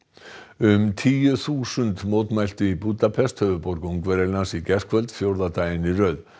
um tíu þúsund mótmæltu í Búdapest höfuðborg Ungverjalands í gærkvöld fjórða daginn í röð